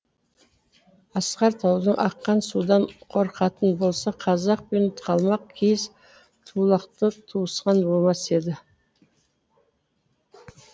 асқар таудан аққан судан қорқатын болса қазақ пен қалмақ киіз туылақты туысқан болмас еді